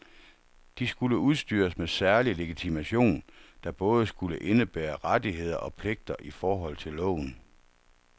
De skulle udstyres med særlig legitimation, der både skulle indebære rettigheder og pligter i forhold til loven.